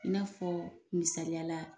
I n'afɔ misaliyala